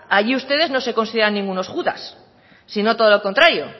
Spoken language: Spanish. allí ustedes no se consideran ningunos judas sino todo lo contrario